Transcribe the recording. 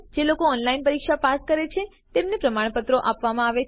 જેઓ ઓનલાઇન પરીક્ષા પાસ કરે છે તેમને પ્રમાણપત્રો પણ આપવામાં આવે છે